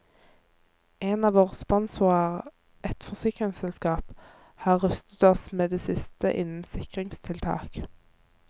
En av våre sponsorer, et forsikringsselskap, har rustet oss med det siste innen sikringstiltak.